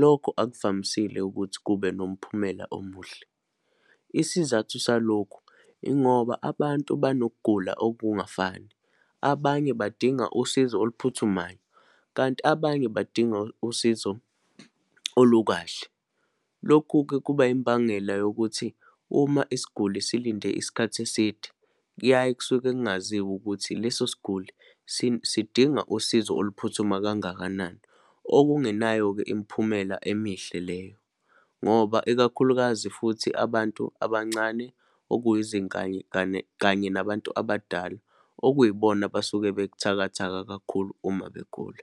lokho akuvamisile ukuthi kube nomphumela omuhle. Isizathu salokhu yingoba, abantu banokugula okungafani, abanye badinga usizo oluphuthumayo, kanti abanye badinga usizo olukahle. Lokhu-ke kuba yimbangela yokuthi uma isiguli silinde isikhathi eside, kuyaye kusuke kungaziwa ukuthi leso sguli sidinga usizo oluphuthuma kangakanani. Okungenayo-ke imiphumela emihle leyo, ngoba ikakhulukazi futhi abantu abancane, kanye nabantu abadala okuyibona abasuke bebuthakatha kakhulu uma begula.